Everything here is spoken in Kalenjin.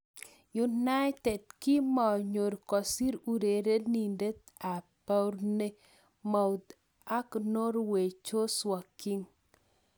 United kimonyor kosir urerenindet ab Bournemouth ak Norway Joshua King.